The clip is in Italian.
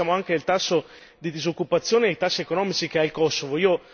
ma poi pensiamo anche al tasso di disoccupazione e ai tassi economici che ha il Kosovo.